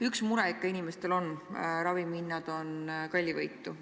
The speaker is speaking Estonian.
Üks mure ikka inimestel on: ravimite hinnad on kallivõitu.